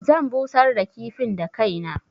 Zan busar da kifin da kaina.